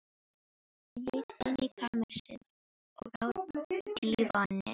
Hún leit inn í kamersið, og á dívaninn.